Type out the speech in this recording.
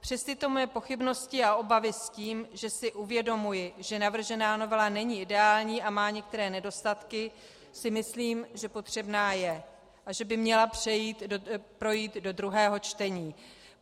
Přes tyto moje pochybnosti a obavy s tím, že si uvědomuji, že navržená novela není ideální a má některé nedostatky, si myslím, že potřebná je a že by měla projít do druhého čtení.